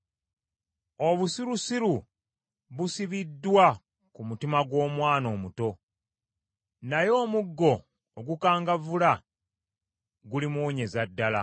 Obusirusiru busibiddwa ku mutima gw’omwana omuto, naye omuggo ogukangavvula gulimuwonyeza ddala.